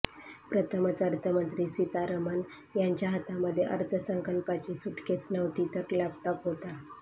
प्रथमच अर्थमंत्री सीतारमन यांच्या हातामध्ये अर्थसंकल्पाची सुटकेस नव्हती तर लॅपटाॅप हाेता